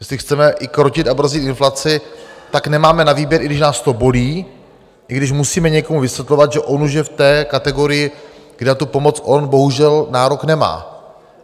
Jestli chceme i krotit a brzdit inflaci, tak nemáme na výběr, i když nás to bolí, i když musíme někomu vysvětlovat, že on už je v té kategorii, kde na pomoc on bohužel nárok nemá.